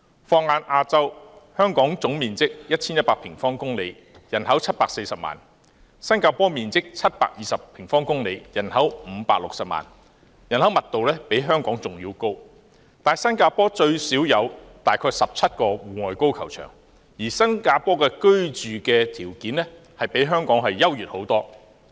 放眼亞洲，香港總面積 1,100 平方公里，人口740萬，新加坡面積720平方公里，人口560萬，人口密度比香港還要高，但新加坡最少有大約17個戶外高爾夫球場，而新加坡的居住條件亦較香港優越得多。